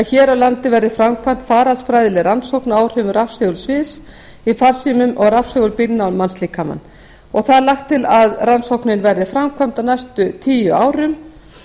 hér á landi verði framkvæmd faraldsfræðileg rannsókn á áhrifum rafsegulsviðs í farsímum og rafsegulbylgna á mannslíkamann lagt er til að rannsóknin verði framkvæmd á næstu tíu árum